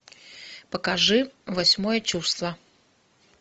покажи восьмое чувство